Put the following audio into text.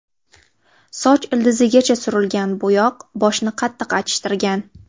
Soch ildizigacha surilgan bo‘yoq boshni qattiq achishtirgan.